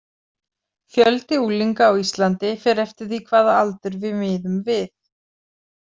Fjöldi unglinga á Íslandi fer eftir því hvaða aldur við miðum við.